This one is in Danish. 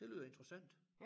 Det lyder interessant